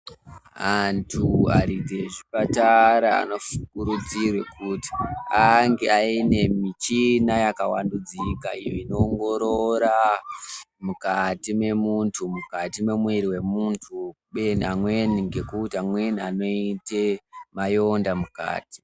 Antu aridzi ezvipatara anofukurudzire kuti ange aine michina yakawandudzika iyo inoongorora mukati memuntu, mukati memwiri wemuntu kubeni amweni ngekuti amweni anoite mayonda mukati.